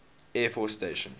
air force station